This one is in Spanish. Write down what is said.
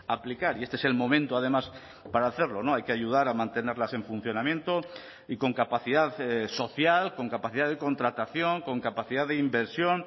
aplicar y este es el momento además para hacerlo no hay que ayudar a mantenerlas en funcionamiento y con capacidad social con capacidad de contratación con capacidad de inversión